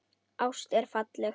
Ást er falleg.